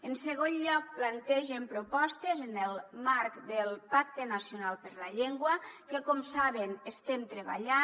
en segon lloc plantegen propostes en el marc del pacte nacional per la llengua que com saben estem treballant